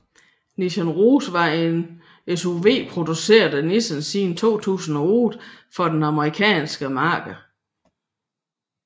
Nissan Rogue er en SUV produceret af Nissan siden 2008 for det amerikanske marked